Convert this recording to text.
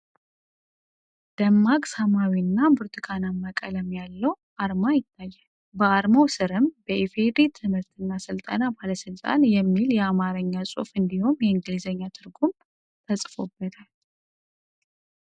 ደማቅ ሰማያዊ እና ብርቱካናማ ቀለም ያለው የ"ETA" አርማ ይታያል። በአርማው ስርም "በኢ.ፌ.ዲ.ሪ ትምህርትና ሥልጠና ባለሥልጣን" የሚል የአማርኛ ጽሑፍ እንዲሁም የእንግሊዝኛ ትርጉሙ "EDRE EDUCATION AND TRAINING AUTHORITY" ተጽፎበታል።